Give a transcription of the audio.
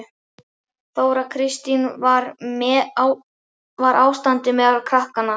Þóra Kristín: En hvernig var ástandið meðal krakkanna?